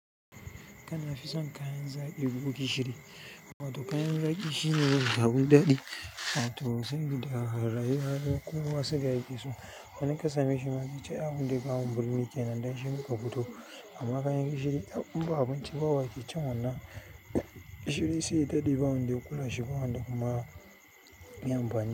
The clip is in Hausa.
Kana fison kayan zaƙi ko gishiri? Wato kayan zaƙi shine abun daɗi, wato saboda rayuwa ma kowa suga yakeso. Wani in kasameshi ma zaice ai abunda ya kawo mu burni kenan don shi muka fito. Amma kayan gishiri tab inba abinci ba waƙe cin wannan gishiri sai daɗe. Ba wanda ya kula shi ba wanda kuma yi amfani.